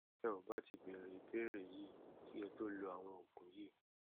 ẹ ò bá ti béèrè ìbéèrè yìí kí ẹ tó lo àwọn òògùn yìí